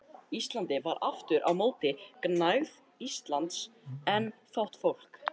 Íslandi var aftur á móti gnægð lands en fátt fólk.